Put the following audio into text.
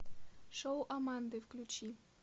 шоу аманды включи